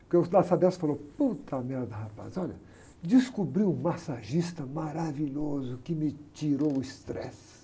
Porque o da Sabesp falou, merda, rapaz, olha, descobri um massagista maravilhoso que me tirou o estresse.